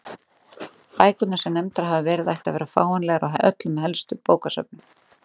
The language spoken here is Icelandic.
Bækurnar sem nefndar hafa verið ættu að vera fáanlegar á öllum helstu bókasöfnum.